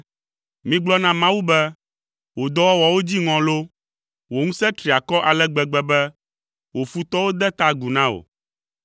Migblɔ na Mawu be, “Wò dɔwɔwɔwo dziŋɔ loo! Wò ŋusẽ tri akɔ ale gbegbe be, wò futɔwo de ta agu na wò.